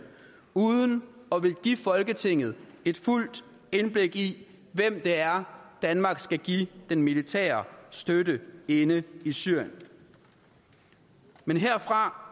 uden at ville give folketinget et fuldt indblik i hvem det er danmark skal give den militære støtte inde i syrien men herfra